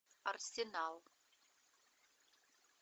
арсенал